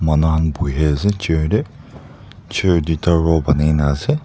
manu khan buhiase chair tae chair duita row banaina ase.